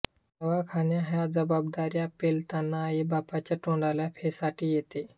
दवाखाना ह्या जबाबदाऱ्या पेलताना आई बापाच्या तोंडाला फेसाटी येते